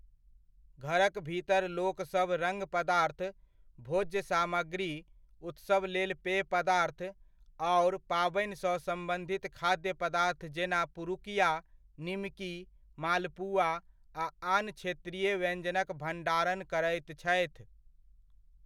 घरक भीतर लोकसभ रङ पदार्थ, भोज्य सामग्री, उत्सवक लेल पेय पदार्थ आओर पाबनिसँ सम्बन्धित खाद्य पदार्थ जेना पुरुकिया, निमकी, मालपुआ आ आन क्षेत्रीय व्यञ्जनक भण्डारण करैत छथि।